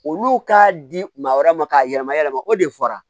Olu k'a di maa wɛrɛ ma k'a yɛlɛma yɛlɛma o de fɔra